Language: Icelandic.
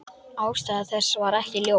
Ástæða þess er ekki ljós.